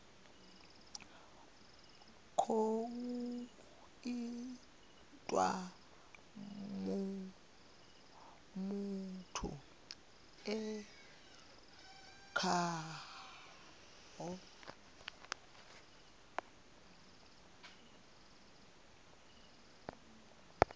khou itiwa muthu e khaho